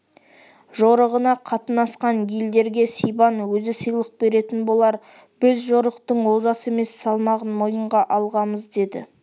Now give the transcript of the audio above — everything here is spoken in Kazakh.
жорығына қатынасқан елдерге сибан өзі сыйлық беретін болар біз жорықтың олжасы емес салмағын мойынға алғамыз деді